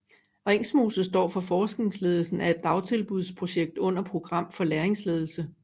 Ringsmose står for forskningsledelsen af et dagtilbudsprojekt under Program for Læringsledelse